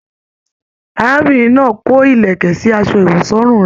Arábìnrin náà kò ìlẹ̀kẹ̀ sí asọ ìwọ̀sọ́rùn rẹ.